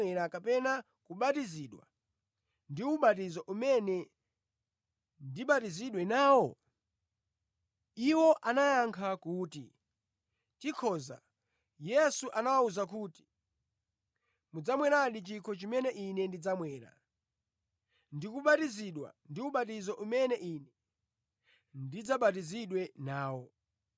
Iwo anayankha kuti, “Tikhoza.” Yesu anawawuza kuti, “Mudzamweradi chikho chimene Ine ndidzamwera, ndi kubatizidwa ndi ubatizo umene Ine ndidzabatizidwe nawo,